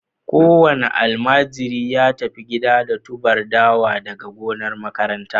Kowane almajiri ya tafi gida da tuber dawa daga gonar makaranta